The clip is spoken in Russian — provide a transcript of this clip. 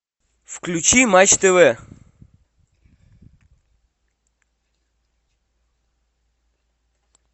включи матч тв